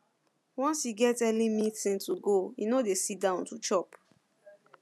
once e get early meeting to go e no dey sit down to chop